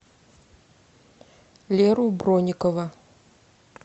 леру бронникова